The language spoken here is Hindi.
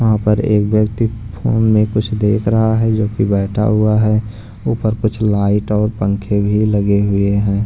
वहाँ पर एक व्यक्ति फोन में कुछ देख रहा है जोकि बैठा हुआ है ऊपर कुछ लाइट और पंखे भी लगे हुए हैं।